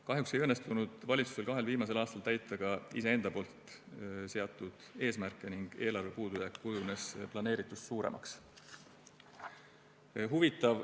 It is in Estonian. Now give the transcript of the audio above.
Kahjuks ei õnnestunud valitsusel kahel viimasel aastal täita ka iseenda seatud eesmärke ning eelarve puudujääk kujunes planeeritust suuremaks.